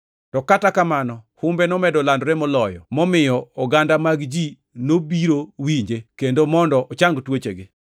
To kata kamano humbe nomedo landore moloyo, momiyo oganda mag ji nobiro winje kendo mondo ochang tuochegi.